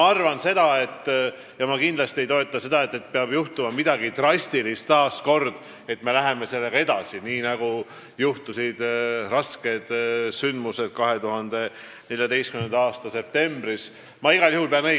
Ma ei arva kindlasti, et peaks juhtuma jälle midagi drastilist, nii nagu juhtusid rasked sündmused 2014. aasta septembris, enne kui me läheme piiriehitusega edasi.